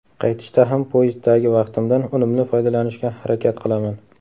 Qaytishda ham poyezddagi vaqtimdan unumli foydalanishga harakat qilaman.